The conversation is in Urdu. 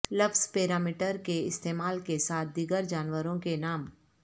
لفظ پیرا میٹر کے استعمال کے ساتھ دیگر جانوروں کے نام